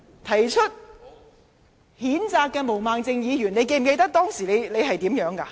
提出譴責議案的毛孟靜議員，你記得你當時怎麼說嗎？